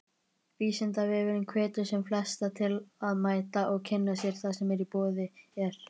Vísindavefurinn hvetur sem flesta til að mæta og kynna sér það sem í boði er.